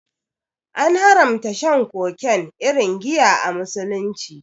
An haramta shan kowace irin giya a Musulunci.